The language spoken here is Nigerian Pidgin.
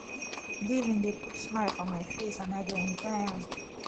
giving dey put smile for my face and i dey enjoy am